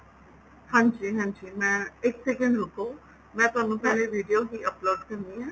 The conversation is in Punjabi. ਹਾਂਜੀ ਹਾਂਜੀ ਮੈਂ ਇੱਕ second ਰੁਕੋ ਮੈ ਤੁਹਾਨੂੰ ਪਹਿਲੇ videos ਹੀ upload ਕਰਨੀ ਏ